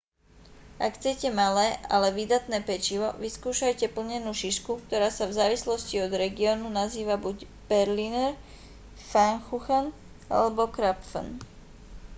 ak chcete malé ale výdatné pečivo vyskúšajte plnenú šišku ktorá sa v závislosti od regiónu nazýva buď berliner pfannkuchen alebo krapfen